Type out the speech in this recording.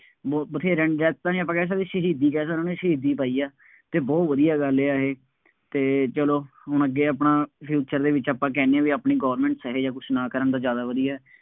ਬਹੁਤ, ਵਥੇਰਿਆਂ ਦੀ death ਤਾਂ ਨਹੀਂ ਆਪਾਂ ਕਹਿ ਸਕਦੇ, ਸ਼ਹੀਦੀ ਕਹਿ ਸਕਦੇ ਹਾਂ, ਉਹਨਾ ਸ਼ਹੀਦੀ ਪਾਈ ਆ ਅਤੇ ਬਹੁਤ ਵਧੀਆ ਗੱਲ ਆ ਇਹ ਅਤੇ ਚੱਲੋ ਹੁਣ ਅੱਗੇ ਆਪਣਾ future ਦੇ ਵਿੱਚ ਆਪਾਂ ਕਹਿੰਦੇ ਹਾਂ ਬਈ ਆਪਣੀ governments ਇਹੋ ਜਿਹਾ ਕੁੱਛ ਨਾ ਕਰਨ ਤਾਂ ਜ਼ਿਆਦਾ ਵਧੀਆ।